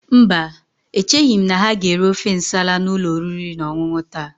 Mba, echeghị m na ha ga-ere ofe Nsala n'ụlọ oriri na ọṅụṅụ taa.